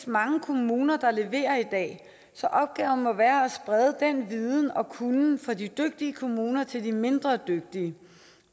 mange kommuner der leverer i dag så opgaven må være at sprede den viden og kunnen fra de dygtige kommuner til de mindre dygtige